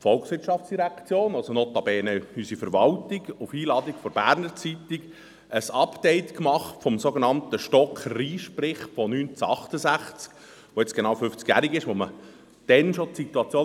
Und zwar hat die VOL, notabene unsere Verwaltung, auf Einladung der «Berner Zeitung» ein Update des sogenannten Stocker-Risch-Berichts aus dem Jahr 1968 gemacht, der jetzt genau fünfzig Jahre alt ist.